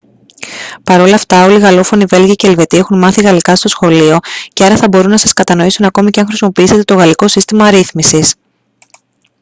παρ' όλα αυτά όλοι οι γαλλόφωνοι βέλγοι και ελβετοί έχουν μάθει γαλλικά στο σχολείο και άρα θα μπορούν να σας κατανοήσουν ακόμη και αν χρησιμοποιήσετε το γαλλικό σύστημα αρίθμησης